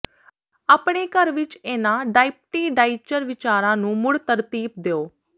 ਆਪਣੇ ਘਰ ਵਿੱਚ ਇਹਨਾਂ ਡਾਇਪਟੀ ਡਾਇਚਰ ਵਿਚਾਰਾਂ ਨੂੰ ਮੁੜ ਤਰਤੀਬ ਦਿਉ